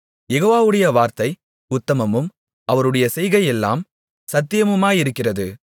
யெகோவாவுடைய வார்த்தை உத்தமமும் அவருடைய செய்கையெல்லாம் சத்தியமுமாயிருக்கிறது